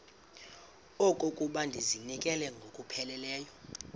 okokuba ndizinikele ngokupheleleyo